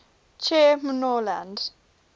che mno land